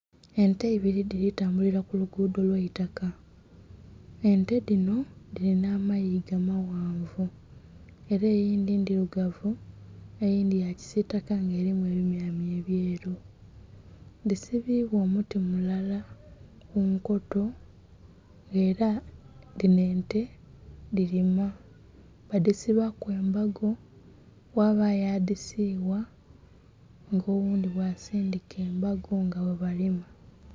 Ente ibiri dhiri tambulira kulugudo olwaitaka, ente dhino dhiri n'amayigo amaghanvu era eyindhi ndhirugavu eyindhi yakisitaka nga erimu ebimyamya ebyeru. Disibibwa omuti mulala munkoto era dhino ente dhirima badisibaku embago ghabayo adhisigha nga oghundhi ghasindhika embago nga ghabalima.